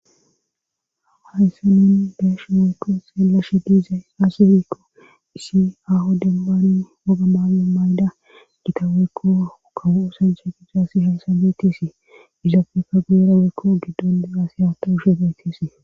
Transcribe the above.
hawa hayssa nen beeshu woyko seelashe diizay aaserikko isi aho dembani woga maago mayda gitaweekko kawuusanche gi daasi shesa betisii izaafekka guyeraweekko giddoni asihato hushe betisii